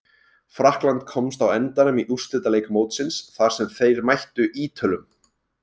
Frakkland komst á endanum í úrslitaleik mótsins þar sem þeir mættu Ítölum.